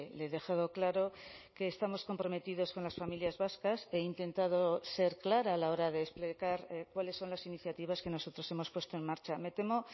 le he dejado claro que estamos comprometidos con las familias vascas he intentado ser clara a la hora de explicar cuáles son las iniciativas que nosotros hemos puesto en marcha me temo